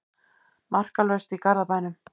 Markalaust í Garðabænum